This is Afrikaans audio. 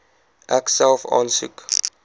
ek self aansoek